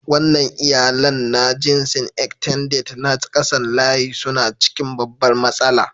Wannan iyalannna jinsin "Extended " na kasan layi suna cikin babbar matsala.